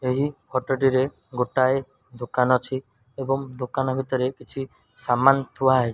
ଏହି ଫଟ ଟିରେ ଗୋଟାଏ ଦୋକାନ ଅଛି ଏବଂ ଦୋକାନ ଭିତରେ କିଛି ସାମାନ ଥୁଆ --